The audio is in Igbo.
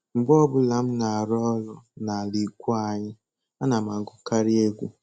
Mgbe ọbụla m na-arụ ọrụ n'ala ikwu anyị, ana m agụkarị egwu